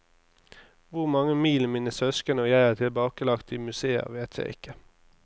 Hvor mange mil mine søsken og jeg har tilbakelagt i museer, vet jeg ikke.